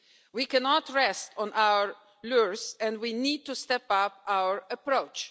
We cannot rest on our laurels and we need to step up our approach.